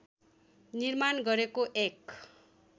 निर्माण गरेको एक